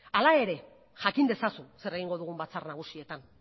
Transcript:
hala ere jakin dezazun zer egingo dugun batzar nagusietan